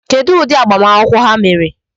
Kedụ ụdị agbamakwụkwọ ha mere?